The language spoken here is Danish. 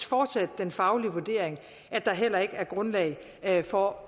fortsat den faglige vurdering at der heller ikke er grundlag for